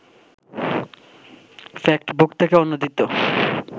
factbook থেকে অনুদিত